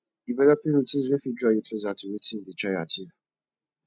developing routines wey fit draw you closer to wetin you dey try achieve